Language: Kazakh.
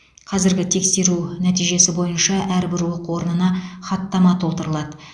қазіргі тексеру нәтижесі бойынша әрбір оқу орнына хаттама толтырылады